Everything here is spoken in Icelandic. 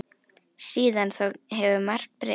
Síðan þá hefur margt breyst.